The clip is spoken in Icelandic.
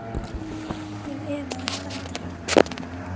Ég efaðist aldrei.